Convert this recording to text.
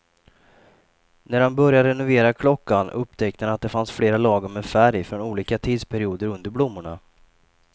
När han började renovera klockan upptäckte han att det fanns flera lager med färg från olika tidsperioder under blommorna.